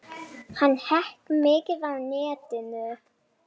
Hann hékk mikið á netinu.